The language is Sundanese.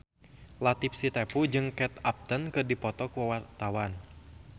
Latief Sitepu jeung Kate Upton keur dipoto ku wartawan